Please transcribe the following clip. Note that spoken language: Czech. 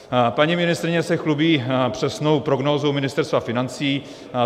Paní ministryně se chlubí přesnou prognózou Ministerstva financí.